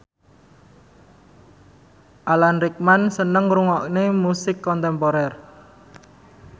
Alan Rickman seneng ngrungokne musik kontemporer